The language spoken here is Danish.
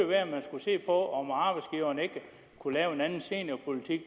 være at man skulle se på om ikke arbejdsgiverne kunne lave en anden seniorpolitik